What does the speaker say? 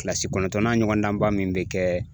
Kilasi kɔnɔntɔnnan ɲɔgɔnnaba min bɛ kɛ